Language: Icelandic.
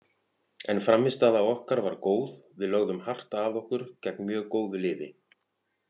En frammistaða okkar var góð, við lögðum hart að okkur gegn mjög góðu liði.